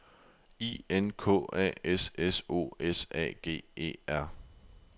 I N K A S S O S A G E R